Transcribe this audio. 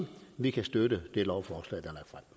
vi kan støtte det lovforslag